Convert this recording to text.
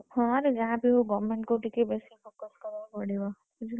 ହଁ ରେ ଯାହାବି ହେଉ government କୁ ଟିକେ ବେଶି focus କରିବାକୁ ପଡିବ ବୁଝିଲୁ ନା।